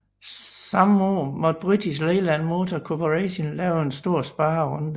Samme år måtte British Leyland Motor Corporation lave en stor sparerunde